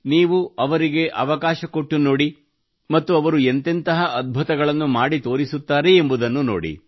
ನೀವು ಅವರಿಗೆ ಅವಕಾಶ ಕೊಟ್ಟು ನೋಡಿ ಮತ್ತು ಅವರು ಎಂತೆಂತಹ ಅದ್ಭುತಗಳನ್ನು ಮಾಡಿ ತೋರಿಸುತ್ತಾರೆ ಎಂಬುದನ್ನು ನೋಡಿ